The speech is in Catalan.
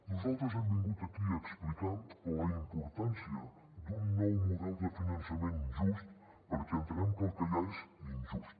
nosaltres hem vingut aquí a explicar la importància d’un nou model de finançament just perquè entenem que el que hi ha és injust